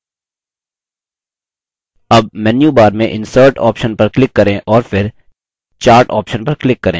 अब मेन्यूबार में insert option पर click करें और फिर chart option पर click करें